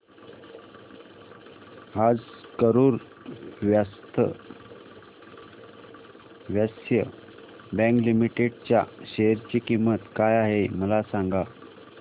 आज Karur Vysya bank limited च्या share ची किंमत काय आहे मला सांगा